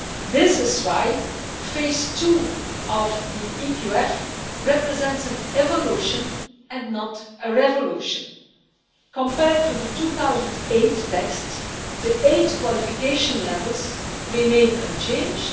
This is why phase 2 of the EQF represents an evolution, and not a revolution. Compared to the 2008 text the eight qualification levels remain unchanged.